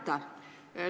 Aitäh!